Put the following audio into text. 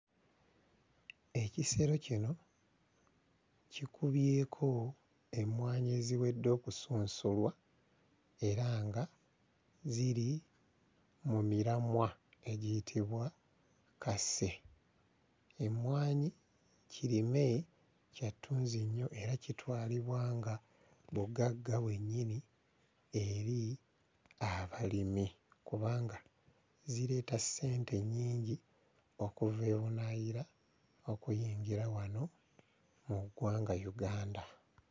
Ekisero kino kikubyeko emmwanyi eziwedde okusunsulwa era nga ziri mu miramwa egiyitibwa kase. Emmwanyi kirime kya ttunzi nnyo era kitwalibwa nga bugagga bwennyini eri abalimi kubanga zireeta ssente nnyingi okuva ebunaayira okuyingira wano mu ggwanga Uganda.